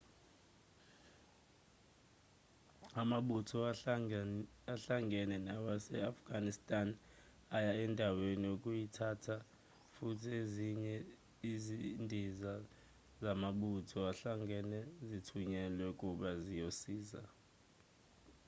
amabutho ahlangene nawase-afghanistan aya endaweni ukuyithatha futhi ezinye izindiza zamabutho ahlangene zithunyelwe kuba ziyosiza